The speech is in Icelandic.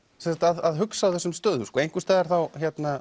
að hugsa á þessum stöðum einhvers staðar þá